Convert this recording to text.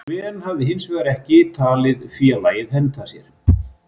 Sven hafi hinsvegar ekki talið félagið henta sér.